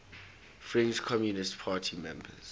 french communist party members